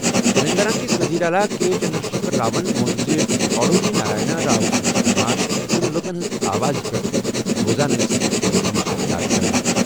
تیٚلنٛگانہ کِس ؤزیٖرِ اعلیٰ کے چنٛدرٛشیکھر راون ووٚن زِ کالوجی نارائنا راؤ سٕنٛزٕ خٕدمات یِم لُکن ہِنٛزِ آوازِ ہِنٛدِ پٲٹھہِ روزان ٲسہِ ، یِیہِ ہمیشہٕ یاد کرنہٕ۔